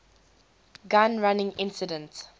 gun running incident